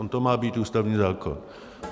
On to má být ústavní zákon.